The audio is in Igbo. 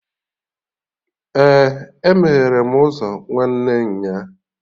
Ee, E meghere m ụzọ nwanne nya